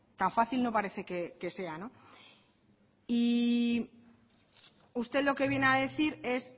tan fácil no parece que sea no y usted lo que viene a decir es